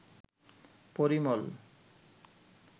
Parimal